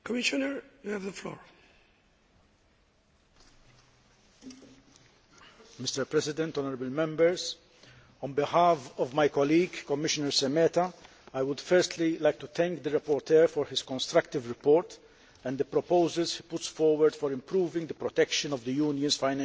Mr President, honourable Members, on behalf of my colleague, Commissioner Šemeta, I would firstly like to thank the rapporteur for his constructive report and the proposals put forward for improving the protection of the Union's financial interests.